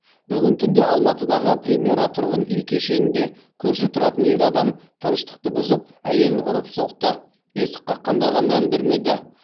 бүгін түнде алматыдағы премьера тұрғын үй кешенінде көрші тұратын ер адам тыныштықты бұзып әйелін ұрып соқты есік қаққандарға мән бермеді